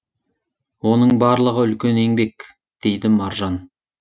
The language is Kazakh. оның барлығы үлкен еңбек дейді маржан